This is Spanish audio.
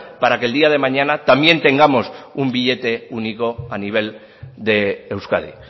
para que el día de mañana también tengamos un billete único a nivel de euskadi